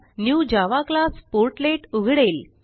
new Java class portlet उघडेल